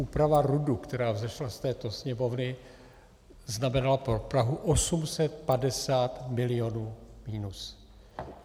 Úprava RUDu, která vzešla z této Sněmovny, znamenala pro Prahu 850 milionů minus.